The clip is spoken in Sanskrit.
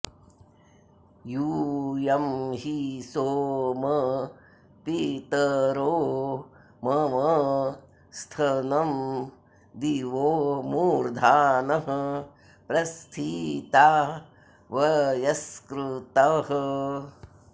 यू॒यं हि सो॑म पि॒तरो॒ मम॒ स्थन॑ दि॒वो मू॒र्धानः॒ प्रस्थि॑ता वय॒स्कृतः॑